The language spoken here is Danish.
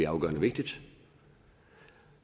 afgørende vigtigt